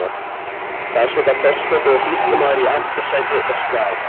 Þar sitja forseti og sýslumaður í aftursæti og skrafa.